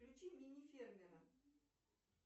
включи мини фермера